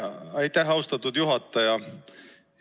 Aitäh, austatud juhataja!